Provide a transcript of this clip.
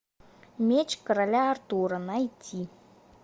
меч короля артура найти